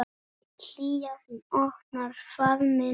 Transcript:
Hlýja þín opnar faðm minn.